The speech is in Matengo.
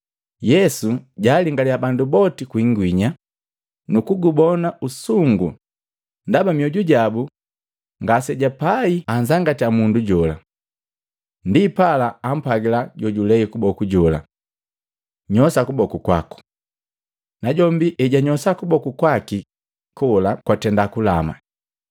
Yesu jaalingaliya bandu boti kwi ingwinya nukugubona usungu ndaba mioju jabu ngasebapai anzangatya mundu jola. Ndipala ampwagila jojulei kuboku jola, “Nyosha kuboku!” Najombi ejanyosha kuboku kwaki kola kwatenda kulama.